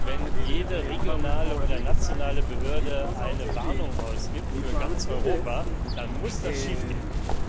Wenn jede regionale oder nationale Behörde eine Warnung für ganz Europa ausgibt, dann muss das schiefgehen.